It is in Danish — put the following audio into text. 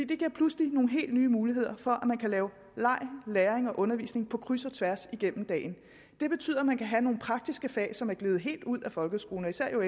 det giver pludselig nogle helt nye muligheder for at man kan lave leg læring og undervisning på kryds og tværs igennem dagen det betyder at man kan have nogle praktiske fag som er gledet helt ud af folkeskolen især jo